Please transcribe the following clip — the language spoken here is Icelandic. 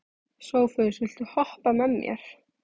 Sophus, viltu hoppa með mér?